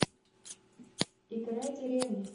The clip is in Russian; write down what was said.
играй деревня